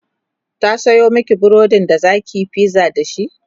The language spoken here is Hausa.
ta Sayo Maki burodin da zakiyi pizza dashi?